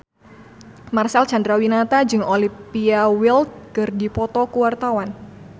Marcel Chandrawinata jeung Olivia Wilde keur dipoto ku wartawan